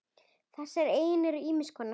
Þessar eignir eru ýmiss konar.